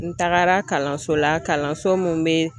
N tagara kalanso la kalanso min bɛ